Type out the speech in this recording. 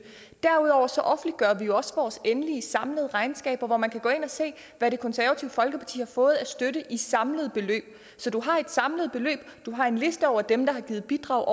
derudover offentliggør vi jo også vores endelige samlede regnskaber hvor man kan gå ind og se hvad det konservative folkeparti har fået i støtte i samlede beløb så du har et samlet beløb du har en liste over dem der har givet bidrag